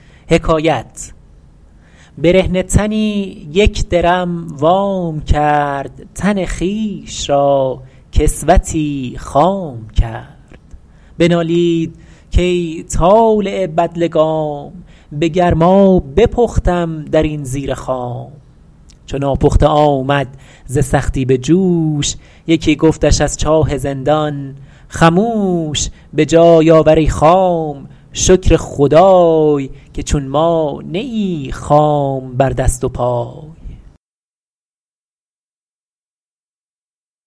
برهنه تنی یک درم وام کرد تن خویش را کسوتی خام کرد بنالید کای طالع بدلگام به گرما بپختم در این زیر خام چو ناپخته آمد ز سختی به جوش یکی گفتش از چاه زندان خموش به جای آور ای خام شکر خدای که چون ما نه ای خام بر دست و پای